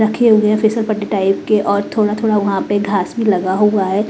रखे हुए हैं फेसलपट्टी टाइप के और थोड़ा थोड़ा वहाँ पे घास में लगा हुआ है।